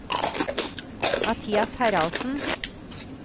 Mathias Haraldsen